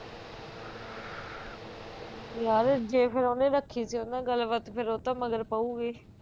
ਯਾਰ ਜੇ ਫਿਰ ਉਹਨੇ ਰੱਖੀ ਸੀ ਉਸ ਨਾਲ ਗੱਲ ਬਾਤ ਫਿਰ ਉਸ ਤੋਂ ਮਗਰ ਪਯੁਗੀ